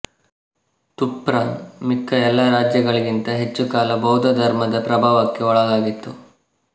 Turfan ಮಿಕ್ಕ ಎಲ್ಲ ರಾಜ್ಯಗಳಿಗಿಂತ ಹೆಚ್ಚು ಕಾಲ ಬೌದ್ಧಧರ್ಮದ ಪ್ರಭಾವಕ್ಕೆ ಒಳಗಾಗಿತ್ತು